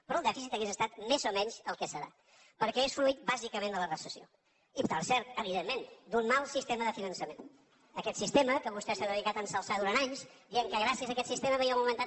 però el dèficit hauria estat més o menys el que serà perquè és fruit bàsicament de la recessió i per cert evidentment d’un mal sistema de finançament d’aquest sistema que vostè s’ha dedicat a enaltir durant anys dient que gràcies a aquest sistema havíem augmentat